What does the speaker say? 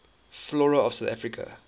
flora of south africa